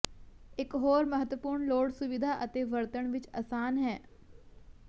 ਇਕ ਹੋਰ ਮਹੱਤਵਪੂਰਨ ਲੋੜ ਸੁਵਿਧਾ ਅਤੇ ਵਰਤਣ ਵਿਚ ਅਸਾਨ ਹੈ